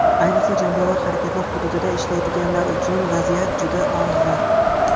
Ayniqsa jangovar harakatlar hududida ishlaydiganlar uchun vaziyat juda og‘ir.